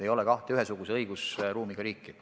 Ei ole kahte ühesuguse õigusruumiga riiki.